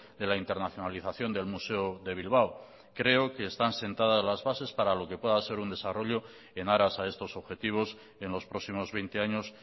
de la internacionalización del museo de bilbao creo que están sentadas las bases para lo que puedan ser un desarrollo en aras a estos objetivos en los próximos veinte años